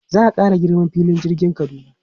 Za a ƙara girman filin jirgin Kaduna.